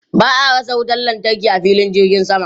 Ba a rasa wutan lantarki a filin jirgin sama.